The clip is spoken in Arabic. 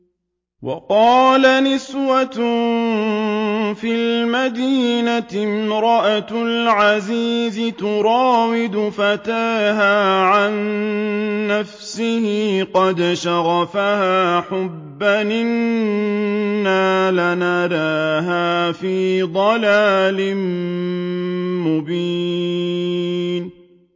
۞ وَقَالَ نِسْوَةٌ فِي الْمَدِينَةِ امْرَأَتُ الْعَزِيزِ تُرَاوِدُ فَتَاهَا عَن نَّفْسِهِ ۖ قَدْ شَغَفَهَا حُبًّا ۖ إِنَّا لَنَرَاهَا فِي ضَلَالٍ مُّبِينٍ